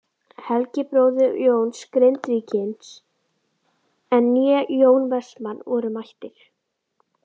Helgi bróðir Jóns Grindvíkings né Jón Vestmann voru mættir.